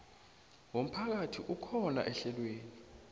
womphakathi akhona ehlelweni